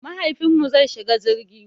Mahaifinmu zai shiga jirgi.